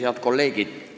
Head kolleegid!